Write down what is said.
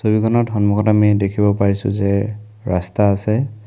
ছবিখনৰ সন্মুখত আমি দেখিব পাৰিছো যে ৰাস্তা আছে।